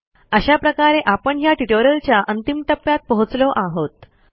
अशा प्रकारे आपण ह्या ट्युटोरियलच्या अंतिम टप्प्यात पोहोचलो आहोत